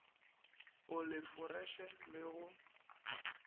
o le foreše le go